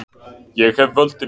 Ég hef völdin.